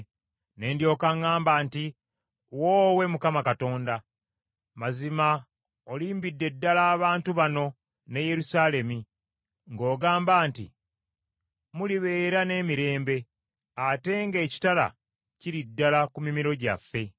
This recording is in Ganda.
Ne ndyoka ŋŋamba nti, “Woowe Mukama Katonda, mazima olimbidde ddala abantu bano ne Yerusaalemi ng’ogamba nti, ‘Mulibeera n’emirembe,’ ate nga ekitala kiri ddala ku mimiro gyaffe.”